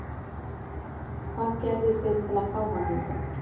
Hvað gerðuð þið til að fá hann hingað?